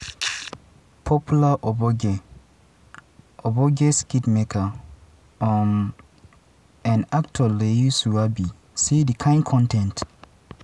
popular ogbonge ogbonge skitmaker um and actor layi wasabi say di kain con ten t